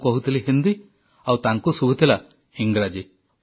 ମୁଁ କହୁଥିଲି ହିନ୍ଦୀ ଆଉ ତାଙ୍କୁ ଶୁଭୁଥିଲା ଇଂରାଜୀ